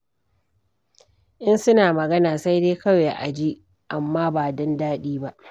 In suna magana sai dai kawai a ji amma ba don daɗi ba.